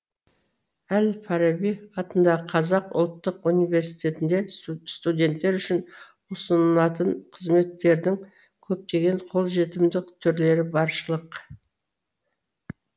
әл фараби атындағы қазақ ұлттық университетінде студенттер үшін ұсынылатын қызметтердің көптеген қолжетімді түрлері баршылық